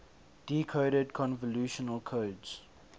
decoded convolutional codes